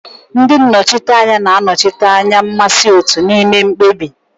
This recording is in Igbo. Ndị nnọchiteanya na-anọchite anya mmasị otu n'ime mkpebi.